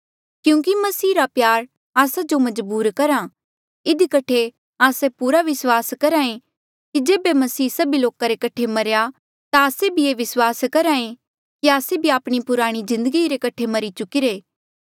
क्यूंकि मसीह रा प्यार आस्सा जो मजबूर करहा इधी कठे आस्से पूरा विस्वास करहे कि जेबे मसीह सभी लोका रे कठे मरेया ता आस्से ये भी विस्वास करहे कि आस्से भी आपणी पुराणी जिन्दगी रे कठे मरी चुकिरे